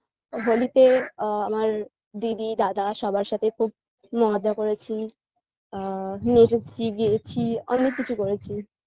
হোলিতে আ আমার দিদি দাদা সবার সাথে খুব মজা করেছি আ নেঠু চিবিয়েছি অনেক কিছু করেছি